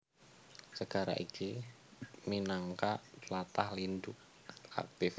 Segara iki minangka tlatah lindhu aktif